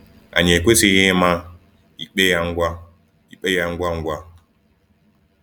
Anyị ekwesịghị ịma ikpe ya ngwa ikpe ya ngwa ngwa.